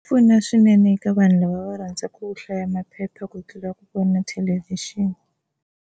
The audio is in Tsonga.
Pfuna swinene eka vanhu lava va rhandzaka ku hlaya maphepha ku tlula ku vona thelevhixini.